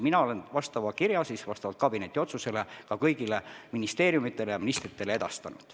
Mina olen sellesisulise kirja vastavalt kabineti otsusele kõigile ministeeriumidele ja ministritele edastanud.